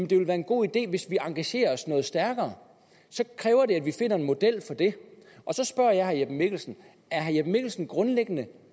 det er en god idé hvis vi engagerer os noget stærkere så kræver det at vi finder en model for det så spørger jeg herre jeppe mikkelsen er herre jeppe mikkelsen grundlæggende